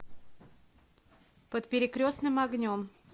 под перекрестным огнем